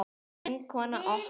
Vinkona okkar.